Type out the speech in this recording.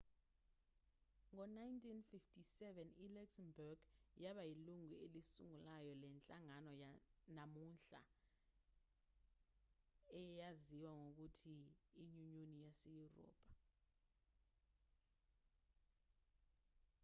ngo-1957 i-luxembourg yaba yilungu elisungulayo lenhlangano namuhla eyaziwa ngokuthi inyunyoni yaseyurophu